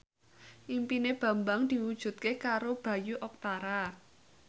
impine Bambang diwujudke karo Bayu Octara